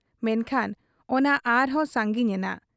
ᱢᱮᱱᱠᱷᱟᱱ ᱚᱱᱟ ᱟᱨᱦᱚᱸ ᱥᱟᱺᱜᱤᱧ ᱮᱱᱟ ᱾